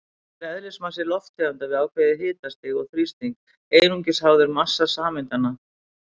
Þannig er eðlismassi lofttegundar við ákveðið hitastig og þrýsting einungis háður massa sameindanna.